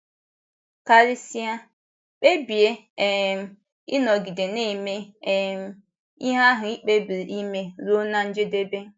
Karịsịa, kpebie um ịnọgide na - eme um ihe ahụ i kpebiri ime ruo ná njedebe.